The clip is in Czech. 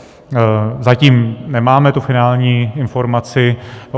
Zatím nemáme tu finální informaci.